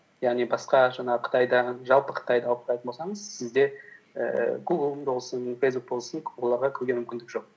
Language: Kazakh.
яғни басқа жаңағы қытайда жалпы қытайда алып қарайтын болсаңыз сізде ііі гугл болсын фейсбук болсын оларға кіруге мүмкіндік жоқ